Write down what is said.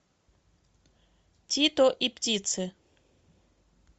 тито и птицы